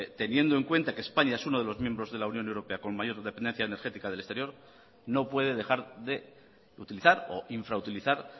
teniendo en cuenta que españa es uno de los miembros de la unión europea con mayor dependencia energética del exterior no puede dejar de utilizar o infrautilizar